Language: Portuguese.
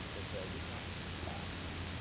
O senhor foi avisado.